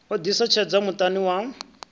o ḓisa tshedza muṱani wa